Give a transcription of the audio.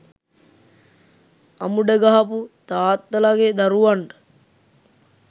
අමුඩ ගහපු තාත්තලගේ දරුවන්ට